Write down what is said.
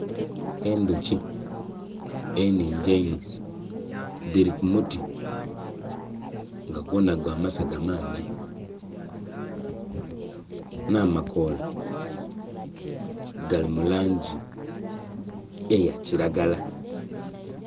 Endhuki eningi einho dhiri ku muti nga gwona gwa masaga mangi. Nh'amakoola gali mu langi eya kiragala